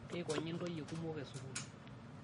Keikonyi ntoyie kumok e sukuul